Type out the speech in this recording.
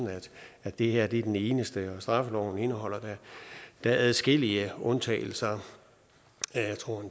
at det her er den eneste straffeloven indeholder da adskillige undtagelser jeg tror